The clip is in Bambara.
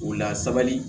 O la sabali